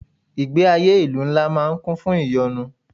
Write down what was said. Ìgbé ayé ìlú ńlá máa ń kún fún ìyọnu.